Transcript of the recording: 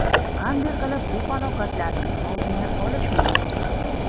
Qanday qilib bu falokatlarning oldini olish mumkin?